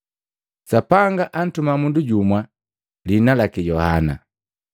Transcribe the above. Sapanga antuma mundu jumu, lihina laki Yohana.